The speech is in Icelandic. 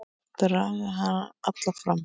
Draga hana fram í stofu.